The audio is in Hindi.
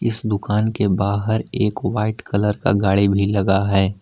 इस दुकान के बाहर एक वाइट कलर का गाड़ी भी लगा है।